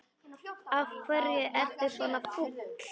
Af hverju ertu svona fúll?